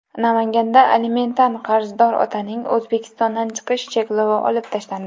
Namanganda alimentdan qarzdor otaning O‘zbekistondan chiqish cheklovi olib tashlandi.